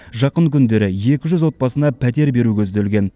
жақын күндері екі жүз отбасына пәтер беру көзделген